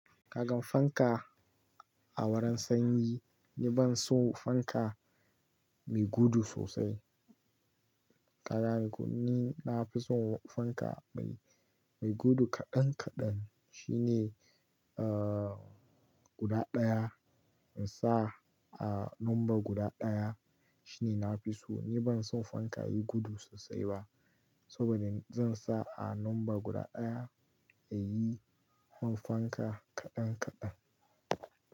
Kagan fanka a wurin sanyi, ni ban son fanka mai gudu sosai. Kagane ko ni, na fi son fanka mai, mai gudu kaɗan kaɗan. Shi ne, uh, guda ɗaya in sa a number guda ɗaya. Shi ne na fi so. Ni ban son fanka yayi gudu sosai ba. Saboda zan sa a number guda ɗaya, ya yi man fanka kaɗan kaɗan.